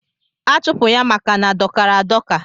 Achụpụ ya maka na dọkara adọka.